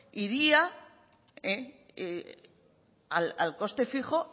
iría al coste fijo